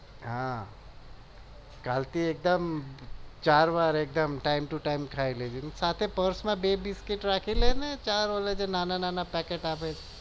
હા કાલ થી એકદમ ચાર વાર time to time ખાઈ લેજે સાથે પર્સ માં બે બિસ્કીટ રાખી લેને ચાર ઓંલા નાના નાના આવે એ પેકેટ